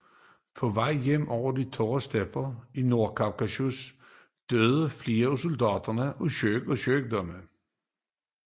På vej hjem over de tørre stepper i Nordkaukasus døde flere af soldaterne af sult og sygdom